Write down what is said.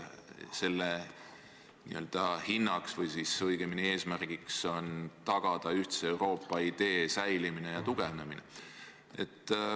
Selle eesmärk on tagada ühtse Euroopa idee säilimine ja tugevnemine.